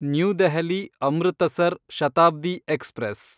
new ದೆಹಲಿ–ಅಮೃತಸರ್ Shatabdi express